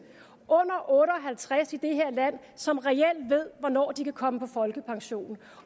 under otte og halvtreds år i det her land som reelt ved hvornår de kan komme på folkepension